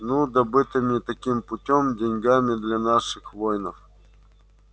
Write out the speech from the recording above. ну добытыми таким путём деньгами для наших воинов